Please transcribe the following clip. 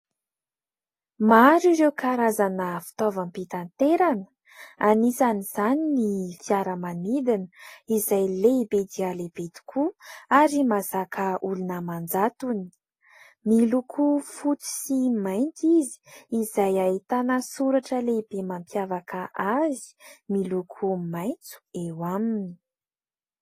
Maro ireo karazana fitaovam-pitanterana. Anisany izany ny fiaramanidina izay lehibe dia lehibe tokoa ary mazaka olona amanjatony. Miloko fotsy sy mainty izy, izay ahitana soratra lehibe mampiavaka azy miloko maitso eo aminy.